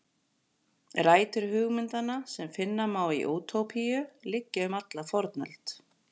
Rætur hugmyndanna sem finna má í Útópíu liggja um alla fornöld.